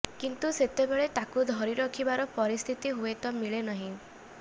କିନ୍ତୁ ସେତେବେଳେ ତାକୁ ଧରି ରଖିବାର ପରିସ୍ଥିତି ହୁଏତ ମିଳେ ନାହିଁ